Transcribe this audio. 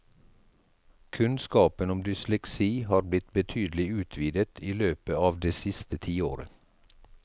Kunnskapen om dysleksi har blitt betydelig utvidet i løpet av det siste tiåret.